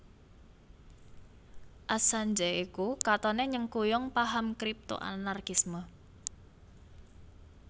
Assange iku katoné nyengkuyung paham Kripto Anarkisme